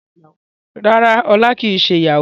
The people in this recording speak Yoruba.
Rárá Ọlá kò ṣiṣẹ́ Yahoo